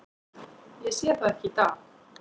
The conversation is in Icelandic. Ég sé það ekki í dag.